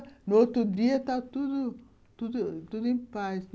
No outro dia, estava tudo tudo tudo em paz.